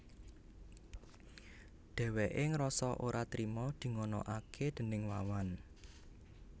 Dhèwèké ngrasa ora trima dinganakaké déning Wawan